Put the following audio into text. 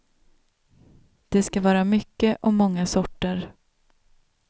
Det ska vara mycket och många sorter.